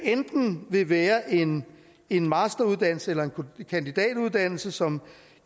enten vil være en en masteruddannelse eller en kandidatuddannelse som